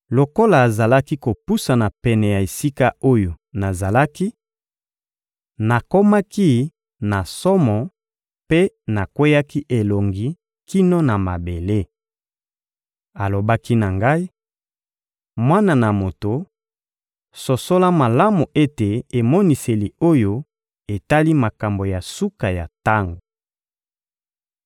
Lokola azalaki kopusana pene ya esika oyo nazalaki, nakomaki na somo mpe nakweyaki elongi kino na mabele. Alobaki na ngai: — Mwana na moto, sosola malamu ete emoniseli oyo etali makambo ya suka ya tango.